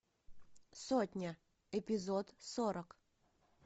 сотня эпизод сорок